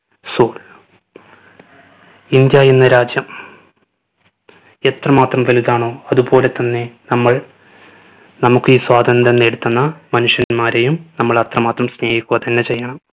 so India എന്ന രാജ്യം എത്രമാത്രം വലുതാണോ അത് പോലെത്തന്നെ നമ്മൾ നമ്മുക്ക് ഈ സ്വാതന്ത്യ്രം നേടിത്തന്ന മനുഷ്യന്മാരെയും നമ്മൾ അത്രമാത്രം സ്നേഹിക്കുക തന്നെ ചെയ്യണം